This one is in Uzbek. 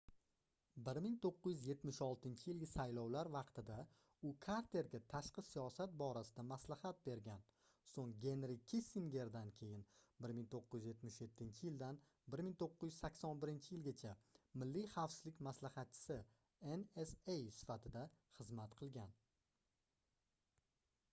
1976-yilgi saylovlar vaqtida u karterga tashqi siyosat borasida maslahat bergan so'ng genri kissingerdan keyin 1977-yildan 1981-yilgacha milliy xavfsizlik maslahatchisi nsa sifatida xizmat qilgan